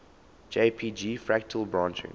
jpg fractal branching